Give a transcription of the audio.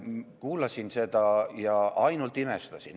Kuulasin seda ja ainult imestasin.